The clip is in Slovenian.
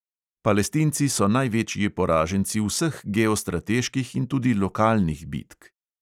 Palestinci so največji poraženci vseh geostrateških in tudi lokalnih bitk.